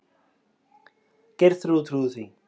Geirþrúður trúði því.